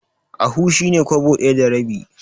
Ahu shi ne Kwabo ɗaya da rabi.